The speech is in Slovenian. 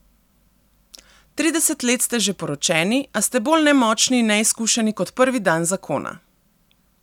Trideset let ste že poročeni, a ste bolj nemočni in neizkušeni kot prvi dan zakona.